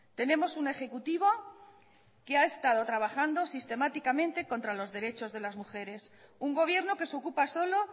tenemos un ejecutivo que ha estado trabajando sistemáticamente contra los derechos de las mujeres un gobierno que se ocupa solo